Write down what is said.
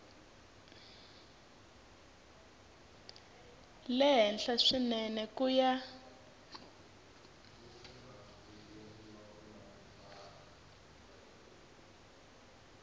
le henhla swinene ku ya